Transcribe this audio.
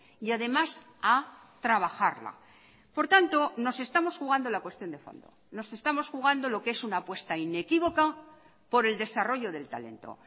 y además a trabajarla por tanto nos estamos jugando la cuestión de fondo nos estamos jugando lo que es una apuesta inequívoca por el desarrollo del talento